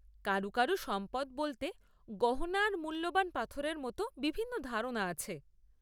কারু কারু সম্পদ বলতে গহনা আর মুল্যবান পাথরের মতো বিভিন্ন ধারনা আছে।